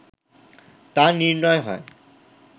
তা নির্ণয় হয়